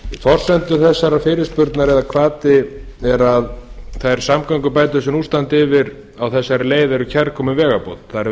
forsendur þessarar fyrirspurnar eða hvati er að þær samgöngubætur sem nú standa yfir á þessari leið eru kærkomin vegarbót það er verið